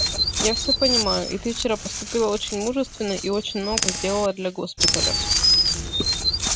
я все понимаю и ты вчера поступила очень мужественно и очень много сделала для госпиталя